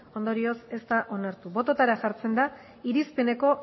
ondorioz ez da onartu bototara jartzen da irizpeneko